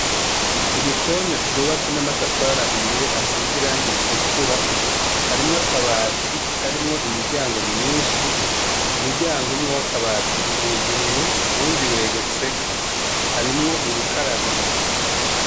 Igikoni cubatse n'amatafari ahiye asize irangi ritukura. Harimwo akabati karimwo imiryango myinshi. Umuryango umwe w'akabati uruguruye uwundi wegetseko. Harimwo urukarabiro.